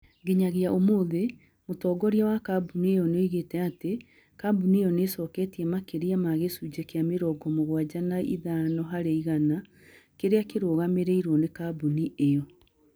Nginyagia ũmũthĩ, mũtongoria wa kambuni ĩyo nĩoĩgĩte atĩ, kambuni ĩyo nĩ ĩcoketie makĩria ma gĩcunjĩ kĩa mĩrongo mũgwanja na ithano harĩ igana, kĩrĩa kĩrũgamagĩrĩrũo nĩ kambuni ĩyo.